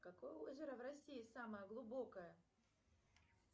какое озеро в россии самое глубокое